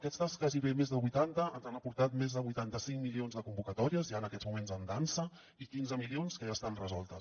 aquestes gairebé més de vuitanta ens han aportat més de vuitanta cinc milions de convocatòries ja en aquests moments en dansa i quinze milions que ja estan resoltes